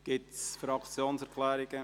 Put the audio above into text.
Gibt es Fraktionserklärungen?